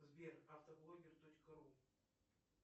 сбер автоблогер точка ру